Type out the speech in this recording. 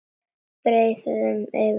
Breiði upp yfir haus.